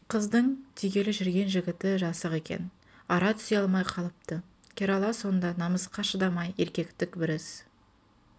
қыздың тигелі жүрген жігіті жасық екен ара түсе алмай қалыпты керала сонда намысқа шыдамай еркектік бір іс